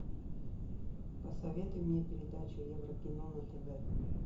посоветуй мне передачу еврокино на тв